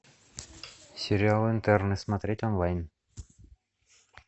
сериал интерны смотреть онлайн